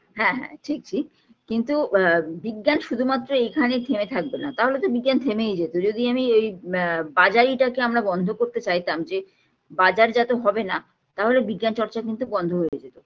হ্যাঁ হ্যাঁ ঠিক ঠিক কিন্তু আ বিজ্ঞান শুধুমাত্র এইখানে থেমে থাকবেনা তাহলে তো বিজ্ঞান থেমেই যেতো যদি আমি এই আ বাজারিটাকে আমরা বন্ধ করতে চাইতাম যে বাজারজাত হবেনা তাহলে বিজ্ঞান চর্চা কিন্তু বন্ধ হয়ে যেতো